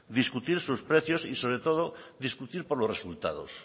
discutir sus precios y sobre todo discutir por los resultados